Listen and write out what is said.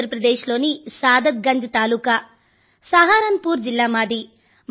ఉత్తర్ ప్రదేశ్ లోని సాదత్ గంజ్ తాలూకా సహారన్ పుర్ జిల్లా మాది